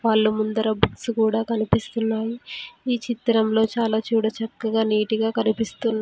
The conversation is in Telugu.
వాళ్ళ ముందర బుక్స్ కూడా కనిపిస్తున్నాయి ఈ చిత్రంలో చాలా చూడ చక్కగా నీట్ గా కనిపిస్తున్న--